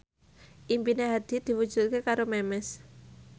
impine Hadi diwujudke karo Memes